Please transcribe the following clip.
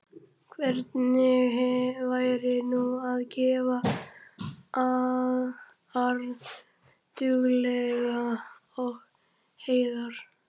Hvernig væri nú að gefa harðduglegum og heiðar